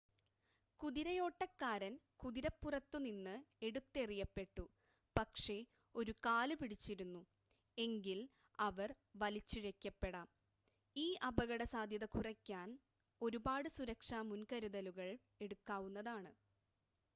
കുതിരയോട്ടക്കാരൻ കുതിരപ്പുറത്തുനിന്ന് എടുത്തെറിയപ്പെട്ടു പക്ഷേ ഒരു കാല് പിടിച്ചിരുന്നു എങ്കിൽ അവർ വലിച്ചിഴയ്ക്കപ്പെടാം ഈ അപകടസാദ്ധ്യത കുറയ്ക്കാൻ ഒരുപാട് സുരക്ഷാ മുൻകരുതലുകൾ എടുക്കാവുന്നതാണ്